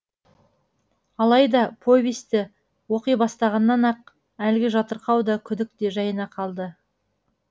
алайда повесті оқи бастағаннан ақ әлгі жатырқау да күдік те жайына қалды